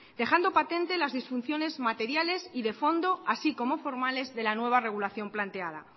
dejando patente las disfunciones materiales y de fondo así como formales de la nueva regulación planteada